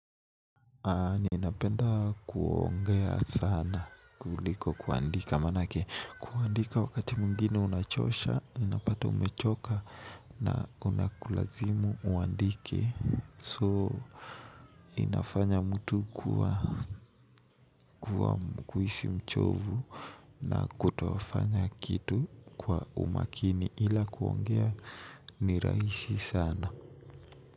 Ninapenda kuongea sana kuliko kuandika manake kuandika wakati mwengine unachosha unapata umechoka na unakulazimu uandike so inafanya mtu kuwa kuhisi mchovu na kutofanya kitu kwa umakini ila kuongea ni rahisi sana.